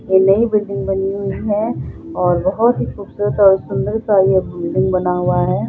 ये नई बिल्डिंग बनी हुई हैं और बहुत ही खूबसूरत और सुन्दर सा ये बिल्डिंग बना हुआ है।